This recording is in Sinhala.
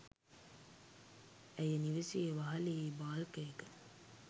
ඇය නිවසේ වහලයේ බාල්කයක